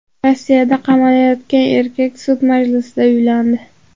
Rossiyada qamalayotgan erkak sud majlisida uylandi.